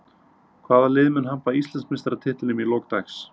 Hvaða lið mun hampa Íslandsmeistaratitlinum í lok dags?